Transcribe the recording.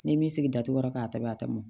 Ni m'i sigi datugula ka tɛmɛ a tɛmɔ